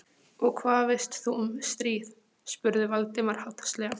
Og hvað veist þú um stríð? spurði Valdimar háðslega.